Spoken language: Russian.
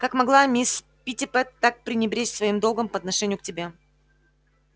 как могла мисс питтипэт так пренебречь своим долгом по отношению к тебе